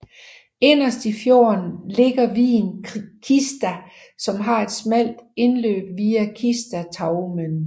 Inderst i fjorden ligger vigen Kista som har et smalt indløb via Kistastraumen